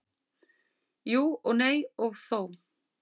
Jú og nei og þó.